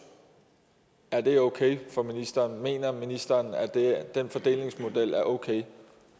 er okay for ministeren mener ministeren at den fordelingsmodel er okay